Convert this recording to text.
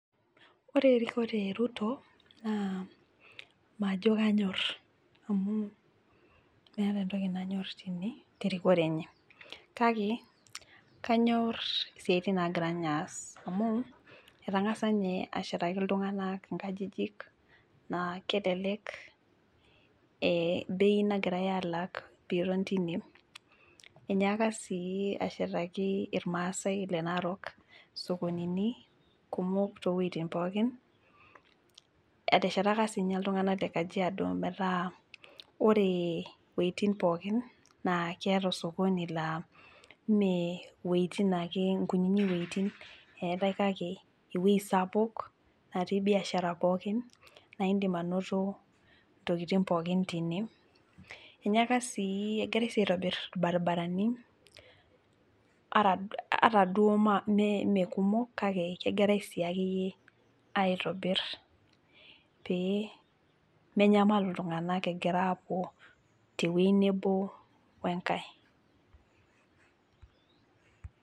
Ore erikore e Ruto naa majo kanyorr amu meeta entoki nanyorr tine terikore enye kake kanyorr isiaitin nagira ninye aas amu etang'asa ninye ashetaki iltung'anak inkajijik naa kelelek eh bei nagirae alaak piiton tine enyaaka sii ashetaki irmaasae le narok isokonini kumok towuejitin pookin eteshetaka sininye iltung'anak le kajiado metaa ore iwuejitin pookin naa keeta ososkoni laa mee iwuejitin ake inkunyinyi wuejitin eetae kake ewueji sapuk natii biashara pookin naindim anoto ntokitin pookin tine enyaaka sii egirae aitobirr irbaribarani ata duo ma me mekumok kake egirae sii akeyie aitobirr pee memyamalu iltung'anak egira aapuo tewueji nebo wenkae.